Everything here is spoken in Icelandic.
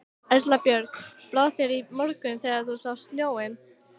Erla Björg: Brá þér í morgun þegar þú sást snjóinn?